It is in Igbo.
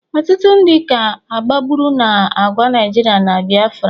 Ọtụtụ ndị ka agbagburu n'agha Naịjirịa na Biafra